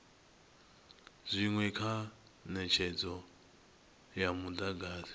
zwinwe kha netshedzo ya mudagasi